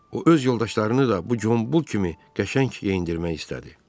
O öz yoldaşlarını da bu Qombul kimi qəşəng geyindirmək istədi.